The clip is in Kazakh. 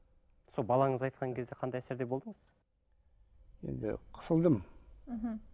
сол балаңыз айтқан кезде қандай әсерде болдыңыз енді қысылдым мхм